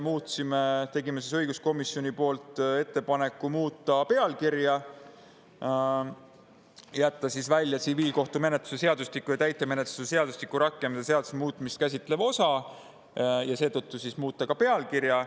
Me tegime õiguskomisjoni poolt ettepaneku jätta välja tsiviilkohtumenetluse seadustiku ja täitemenetluse seadustiku rakendamise seaduse muutmist käsitlev osa ja seetõttu siis ka muuta pealkirja.